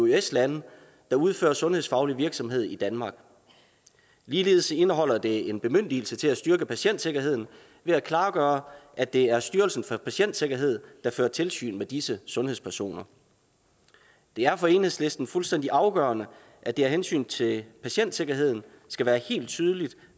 eøs lande der udfører sundhedsfaglig virksomhed i danmark ligeledes indeholder det en bemyndigelse til at styrke patientsikkerheden ved at klargøre at det er styrelsen for patientsikkerhed der fører tilsyn med disse sundhedspersoner det er for enhedslisten fuldstændig afgørende at det af hensyn til patientsikkerheden skal være helt tydeligt